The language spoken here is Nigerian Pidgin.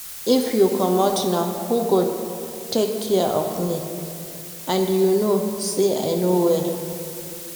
If you comot now who go take care of me? And you know say I no well